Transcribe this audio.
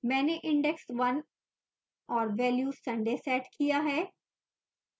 मैंने index 1 और value sunday set किया है